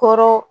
Kɔrɔ